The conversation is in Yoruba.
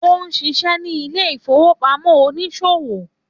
Ó ń ṣiṣẹ́ ní Ilé-ìfowópamọ́ oníṣòwò.